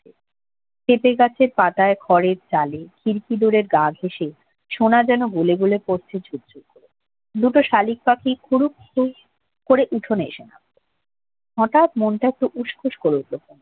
পেঁপে গাছের মাথায় ঘরের চালে খিরকি দলের গা ঘেঁসে সোনা যেন গলে গলে পড়ছে ঝুরঝুর করে দুটো শালিক পাখি ফুরুক ফুরুক করে উঠোনে এসে নামল হঠাৎ মনটা একটু উষ্ক করে উঠল যেন